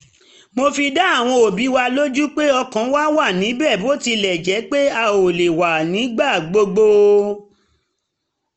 mo fi dá àwọn òbí lójú pé ọkàn wa wá níbẹ̀ bó tilẹ̀ jẹ́ pé a ò lè wá nígbà gbogbo